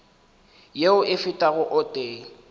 yeo e fetago o tee